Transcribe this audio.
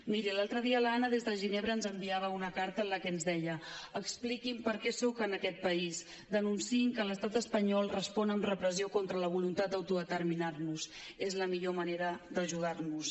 miri l’altre dia l’anna des de ginebra ens enviava una carta en la que ens deia expliquin per què soc en aquest país denunciïn que l’estat espanyol respon amb repressió contra la voluntat d’autodeterminar nos és la millor manera d’ajudar nos